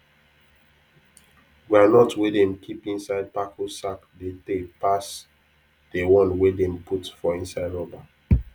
groundnut wey dem keep inside bako sack dey tay pass the one wey dem put for inside rubber